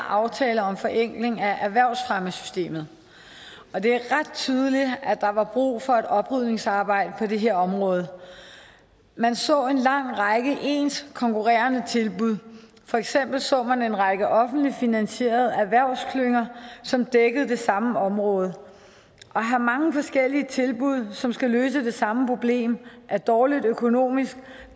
aftaler om forenkling af erhvervsfremmesystemet det er ret tydeligt at der var brug for et oprydningsarbejde på det her område man så en lang række af ens konkurrerende tilbud for eksempel så man en række offentligt finansierede erhvervsklynger som dækkede det samme område at have mange forskellige tilbud som skal løse det samme problem er dårligt økonomisk